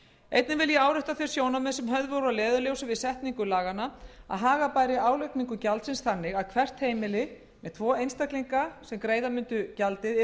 einnig vil ég árétta þau sjónarmið sem höfð voru að leiðarljósi við setningu laganna að haga bæri álagningu gjaldsins þannig að hvert heimili með tvo einstaklinga sem greiða mundu gjaldið yrði